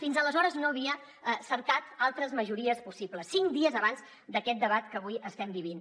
fins aleshores no havia cercat altres majories possibles cinc dies abans d’aquest debat que avui estem vivint